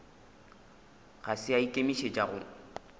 ga se a ikemišetša go